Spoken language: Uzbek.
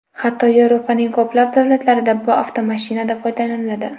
Hatto Yevropaning ko‘plab davlatlarida bu avtomashinadan foydalaniladi.